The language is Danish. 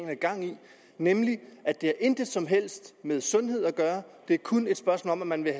har gang i nemlig at det intet som helst med sundhed at gøre det er kun et spørgsmål om at man vil